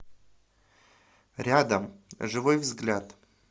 рядом живой взгляд